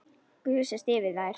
Gusast yfir þær.